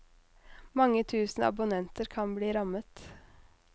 Mange tusen abonnenter kan bli rammet.